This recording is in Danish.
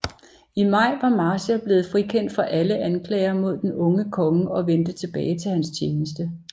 I maj var Marshal blevet frikendt for alle anklager mod den unge konge og vendte tilbage til hans tjeneste